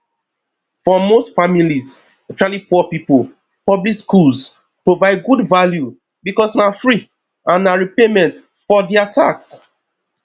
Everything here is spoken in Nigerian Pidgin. for most families especially poor pipo public schools provide good value because na free and na repayment for their tax